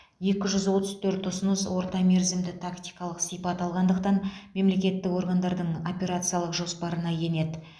екі жүз отыз төрт ұсыныс ортамерзімді тактикалық сипат алғандықтан мемлекеттік органдардың операциялық жоспарына енеді